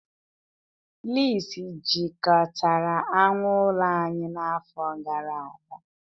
Fleas jikọtara anụ ụlọ anyị n'afọ gara aga